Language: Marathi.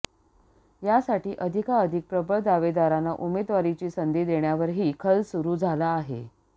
यासाठी अधिकाधिक प्रबळ दावेदारांना उमेदवारीची संधी देण्यावरही खल सुरू झाला आहे